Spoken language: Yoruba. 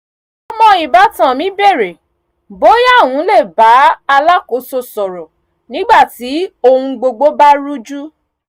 ọmọ ìbátan mi bèrè bóyá òun lè bá alákòóso sọ̀rọ̀ nígbà tí ohun gbogbo bá rújú